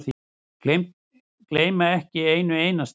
Gleyma ekki einu einasta.